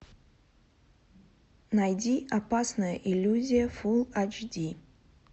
найди опасная иллюзия фулл эйч ди